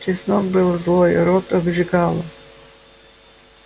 чеснок был злой рот обжигало